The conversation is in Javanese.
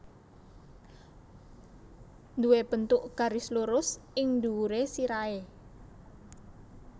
Nduwé bentuk garis lurus ing dhuwuré sirahé